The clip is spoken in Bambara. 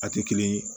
A tɛ kelen ye